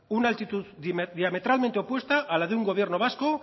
una altitud diametralmente opuesta a la de un gobierno vasco